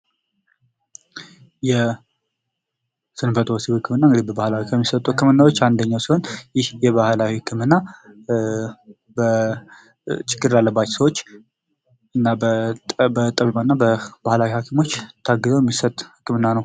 የስንፈተ ወሲብ ህክምና በባህላዊ ህክምና ከሚሰጡ ህክምናዎች አንደኛው ሲሆን ባህላዊ ህክምና ችግር ላለባቸው ሰዎች እና በጥሩ እና ባህላዊ ሀኪሞች ታግዞ የሚሰጥ ህክምና ነው።